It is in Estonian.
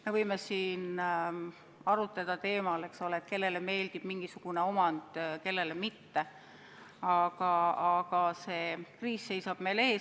Me võime siin arutleda teemal, kellele meeldib mingisugune omand, kellele teistsugune, aga see kriis seisab meil ees.